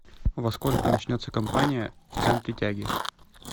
во сколько начнется компания в центре тяги